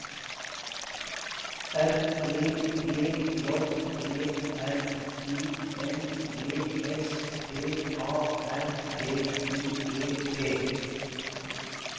R E G J E R I N G S P A R T I E T